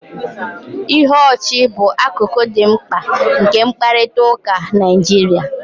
Ihe ọchị bụ akụkụ dị mkpa nke mkparịta ụka Naịjirịa